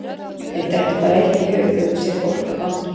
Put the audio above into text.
Þér dettur bara eitt í hug þegar þú sérð fólk á gangi.